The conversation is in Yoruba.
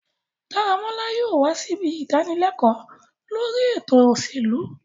Daramola yóò wa sibi idanileko lori eto oselu